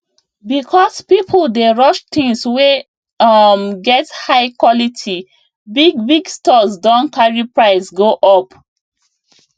because people dey rush things wey um get high quality bigbig stores don carry price go up